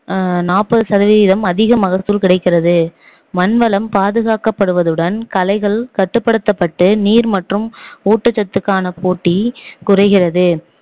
அஹ் நாப்பது சதவீதம் அதிக மகசூல் கிடைக்கிறது மண் வளம் பாதுகாக்கப்படுவதுடன் களைகள் கட்டுப்படுத்தப்பட்டு நீ மற்றும் ஊட்டச்சத்துக்கான போட்டி குறைகிறது